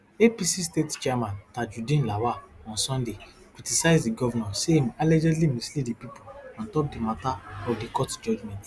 apc state chairman tajudeen lawal on sunday criticize di govnor say im allegedly mislead di pipo ontop di matter of di court judgement